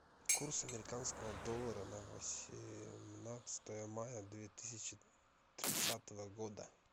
курс американского доллара на восемнадцатое мая две тысячи тридцатого года